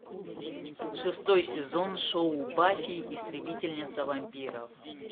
шестой сезон шоу баффи истребительница вампиров